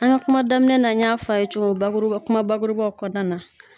An ka kuma daminɛ na n y'a fa ye cogo bakuruba kuma bakurubaw kɔnɔna na